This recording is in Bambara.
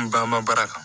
N ba ma baara kan